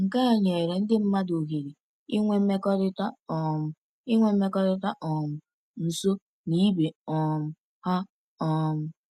Nke a nyere ndị mmadụ ohere inwe mmekọrịta um inwe mmekọrịta um nso na ibe um ha. um